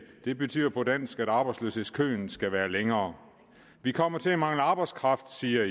det betyder på dansk at arbejdsløshedskøen skal være længere vi kommer til at mangle arbejdskraft siger